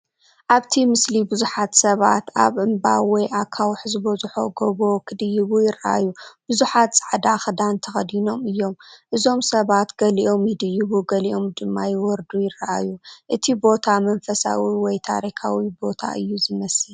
ኣብቲ ምስሊ ብዙሓት ሰባት ኣብ እምባ ወይ ኣኻውሕ ዝበዝሖ ጎቦ ክድይቡ ይረኣዩ። ብዙሓት ጻዕዳ ክዳን ተኸዲኖም እዮም። እዞም ሰባት ገሊኦም ይድይቡ ገሊኦም ድማ ክወርዱ ይረኣዩ። እቲ ቦታ መንፈሳዊ ወይ ታሪኻዊ ቦታ እዩ ዝመስል።